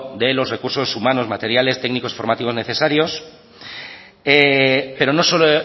de los recursos humanos materiales técnicos y formativos necesarios pero no solo